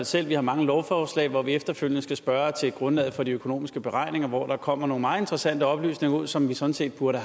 selv at vi har mange lovforslag hvor vi efterfølgende skal spørge til grundlaget for de økonomiske beregninger og hvor der kommer nogle meget interessante oplysninger ud som vi sådan set burde